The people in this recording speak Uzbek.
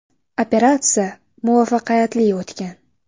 Operatsiya muvaffaqiyatli o‘tgan.